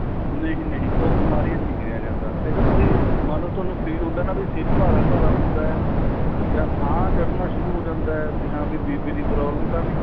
ਨਹੀਂ ਨਹੀੰ ਉਹ ਬਿਮਾਰੀਆਂ ਵਿੱਚ ਨਹੀਂ ਗਿਣਿਆ ਜਾਂਦਾ ਇਹ ਤਾਂ ਤੁਸੀਂ ਮੰਨਲੋ ਤੁਹਾਨੂੰ feel ਹੁੰਦਾ ਨਾ ਸਿਰ ਭਾਰਾ ਭਾਰਾ ਹੁੰਦਾ ਏ ਜਾਂ ਸਾਹ ਚੜਣਾ ਸ਼ੁਰੂ ਹੋ ਜਾਂਦਾ ਏ ਹਾਂ ਵੀ BP ਦੀ problem ਤਾਂ ਨਹੀਂ